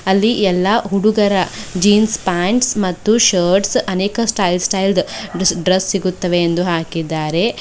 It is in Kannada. ಅಲ್ಲಿ ಎಲ್ಲಾ ಹುಡುಗರ ಜೀನ್ಸ್ ಪ್ಯಾಂಟ್ಸ್ ಮತ್ತು ಶರ್ಟ್ಸ್ ಅನೇಕ ಸ್ಟೈಲ್ ಸ್ಟೈಲ್ ದ್ ಡ್ರೆಸ್ ಸಿಗುತ್ತವೆ ಎಂದು ಹಾಕಿದ್ದಾರೆ.